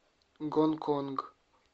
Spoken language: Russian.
гонконг